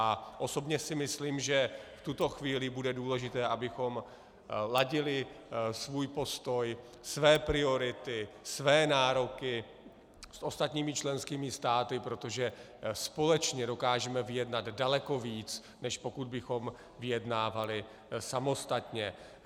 A osobně si myslím, že v tuto chvíli bude důležité, abychom ladili svůj postoj, své priority, své nároky s ostatními členskými státy, protože společně dokážeme vyjednat daleko víc, než pokud bychom vyjednávali samostatně.